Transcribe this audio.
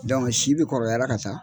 si be kɔrɔbayara ka taa